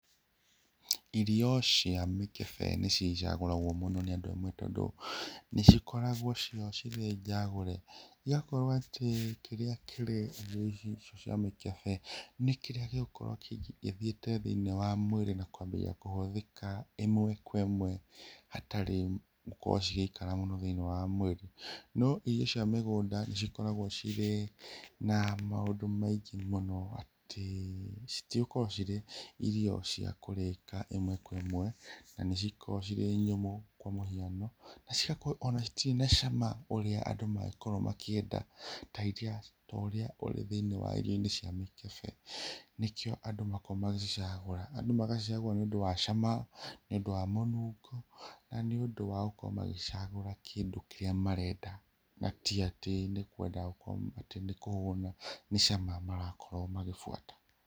Irio cia mĩkebe nĩcio icagũragwo mũno nĩ andũ amwe tondũ nĩcikoragwo cio cirĩ njagũre. Igakorwo atĩ kĩrĩa kĩrĩ irio icio cia mikebe nĩ kĩrĩa gĩgũkorwo gĩthiĩte thĩ-inĩ wa mwĩrĩ na kũambia kũhũthĩka ĩmwe kwa ĩmwe hatarĩ gũkorwo cigĩikara mũno thĩ-ini wa mwĩrĩ. No irio cia mĩgũnda nĩ cikoragwo cirĩ na maũndũ maingĩ mũno, atĩ citigũkorwo cirĩ irio cia kũrĩka ĩmwe kwa ĩmwe na nĩ cikoragwo cirĩ nyũmũ kwa mũhiano. Na cigakorwo citirĩ na cama ũrĩa andũ magĩkoragwo makĩenda ta ũrĩa ũrĩ thĩ-inĩ wa irio-ini cia mĩkebe. Nĩkĩo andũ makorawgo magĩcicagũra. Andũ magacagũra nĩ ũndũ wa cama, nĩ ũndũ wa mũnungo na nĩ ũndũ wa gũkorwo magĩcagũra kĩndũ kĩrĩa marenda na ti atĩ ni kũhuna. Ni cama marakorwo makĩbuata.